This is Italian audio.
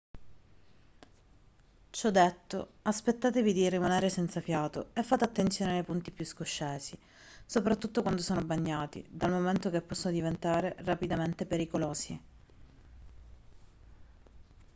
ciò detto aspettatevi di rimanere senza fiato e fate attenzione nei punti più scoscesi soprattutto quando sono bagnati dal momento che possono diventare rapidamente pericolosi